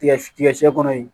Tigɛ tigɛ sɛn kɔnɔ yen